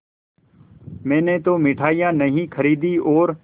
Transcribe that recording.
मैंने तो मिठाई नहीं खरीदी और